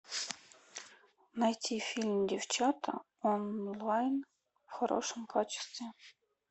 найти фильм девчата онлайн в хорошем качестве